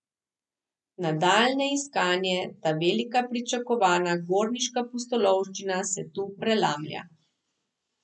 Nadaljnje iskanje, ta velika pričakovana gorniška pustolovščina, se tu prelamlja.